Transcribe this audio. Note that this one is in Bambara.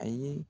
Ayi